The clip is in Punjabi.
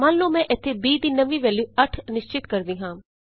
ਮੰਨ ਲਉ ਮੈਂ ਇਥੇ b ਦੀ ਨਵੀਂ ਵੈਲਯੂ 8 ਨਿਸ਼ਚਿਤ ਕਰਦੀ ਹਾਂ